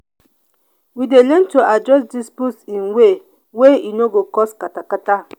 we dey learn to address disputes in way wey e no go cause katakata.